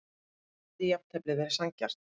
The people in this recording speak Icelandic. Hefði jafntefli verið sanngjarnt?